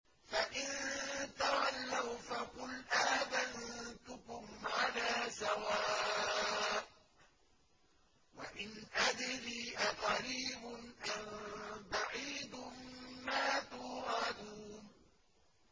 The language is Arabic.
فَإِن تَوَلَّوْا فَقُلْ آذَنتُكُمْ عَلَىٰ سَوَاءٍ ۖ وَإِنْ أَدْرِي أَقَرِيبٌ أَم بَعِيدٌ مَّا تُوعَدُونَ